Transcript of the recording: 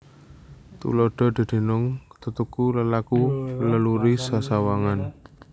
Tuladha dedunung tetuku lelaku leluri sesawangan